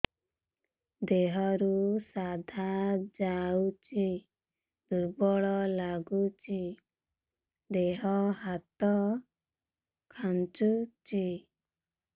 ଦେହରୁ ସାଧା ଯାଉଚି ଦୁର୍ବଳ ଲାଗୁଚି ଦେହ ହାତ ଖାନ୍ଚୁଚି